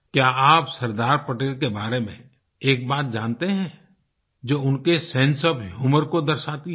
क्या आप सरदार पटेल के बारे में एक बात जानते हैं जो उनके सेंसे ओएफ ह्यूमर को दर्शाती है